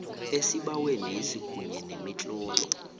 esibawenesi kunye nemitlolo